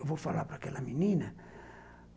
Eu vou falar para aquela menina.